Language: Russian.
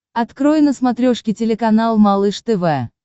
открой на смотрешке телеканал малыш тв